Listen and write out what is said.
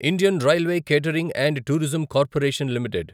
Indian railway catering and tourism corporation limited